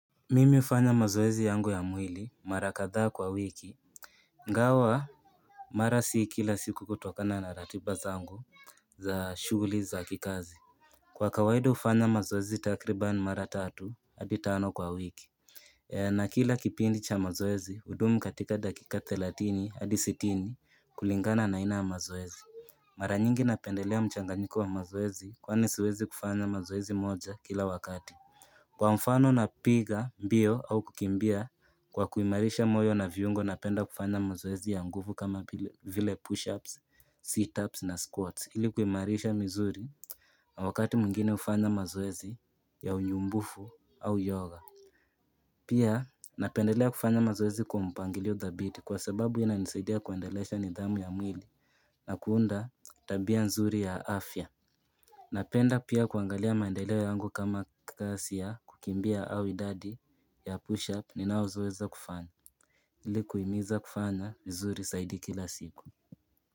Mimi hufanya mazoezi yangu ya mwili mara kadhaa kwa wiki ingawa Mara si kila siku kutokana na ratiba zangu za shughuli za kikazi Kwa kawaida hufanya mazoezi takriban mara tatu hadi tano kwa wiki na kila kipindi cha mazoezi hudumu katika dakika thelathini hadi sitini kulingana na aina ya mazoezi Mara nyingi napendelea mchanganyiko wa mazoezi kwani siwezi kufanya mazoezi moja kila wakati Kwa mfano na piga, mbio au kukimbia kwa kuimarisha moyo na viungo na penda kufanya mazoezi ya nguvu kama vile push-ups, seat-ups na squats ili kuimarisha misuli na wakati mwingine hufanya mazoezi ya unyumbufu au yoga. Pia napendelea kufanya mazoezi kwa mpangilio dhabiti kwa sababu ina nisaidia kuendelesha nidhamu ya mwili na kuunda tabia nzuri ya afya. Napenda pia kuangalia maendeleo yangu kama kasi ya kukimbia au idadi ya push up ninazoweza kufanya ili kuhimiza kufanya vizuri zaidi kila siku.